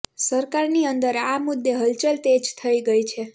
સરકારની અંદર આ મુદ્દે હલચલ તેજ થઇ ગઈ છે